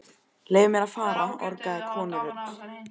Leyfið mér að fara orgaði konurödd.